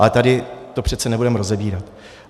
Ale tady to přece nebudeme rozebírat.